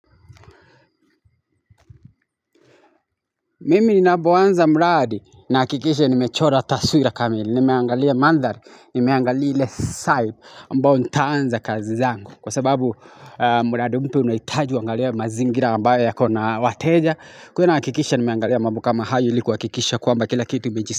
Mimi ninapoanza mradi nahakikisha nimechora taswira kamili, nimeangalia mandhari, nimeangalia ile side ambayo nitaanza kazi zangu. Kwa sababu mradi mtu umehitaji huangalie mazingira ambayo yako na wateja, kwa hivyo nahakikisha nimeangalia mambo kama hayo ili kuhakikisha kwamba kila kitu.